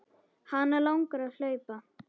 Hana langar að hlaupa.